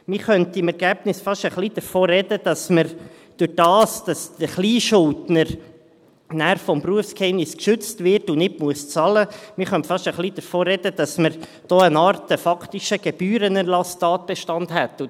Man könnte im Ergebnis fast ein wenig davon sprechen, dass wir dadurch, dass der Kleinschuldner dann durch das Berufsgeheimnis geschützt wird und nicht bezahlen muss, eine Art faktischen Gebührenerlasstatbestand hätten.